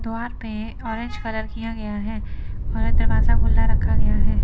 द्वार पे orange colour किया गया है और दरवाजा खुला रखा गया है।